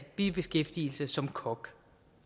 bibeskæftigelse som kok